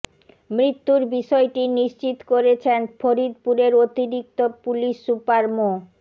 মৃত্যুর বিষয়টি নিশ্চিত করেছেন ফরিদপুরের অতিরিক্ত পুলিশ সুপার মো